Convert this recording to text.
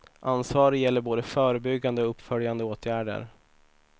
Ansvaret gäller både förebyggande och uppföljande åtgärder.